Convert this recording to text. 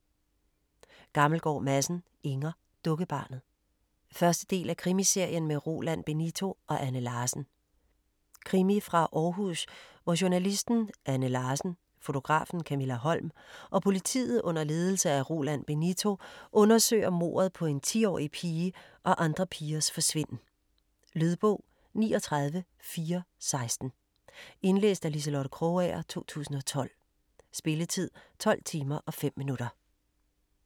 Gammelgaard Madsen, Inger: Dukkebarnet 1. del af Krimiserien med Roland Benito og Anne Larsen. Krimi fra Århus, hvor journalisten Anne Larsen, fotografen Kamilla Holm og politiet under ledelse af Roland Benito undersøger mordet på en 10-årig pige og andre pigers forsvinden. Lydbog 39416 Indlæst af Liselotte Krogager, 2012. Spilletid: 12 timer, 5 minutter.